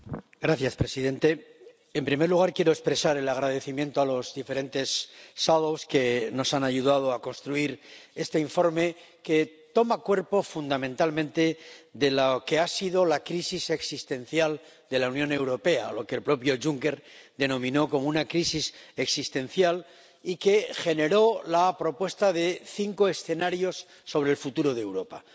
Señor presidente, en primer lugar quiero expresar el agradecimiento a los diferentes ponentes alternativos que nos han ayudado a construir este informe que toma cuerpo fundamentalmente a partir de lo que ha sido la crisis existencial de la Unión Europea, lo que el propio Juncker denominó como una crisis existencial y que generó la propuesta de cinco escenarios sobre el futuro de Europa.